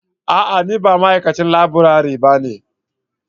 A'a! Ni ba ma'aikacin laburare bane.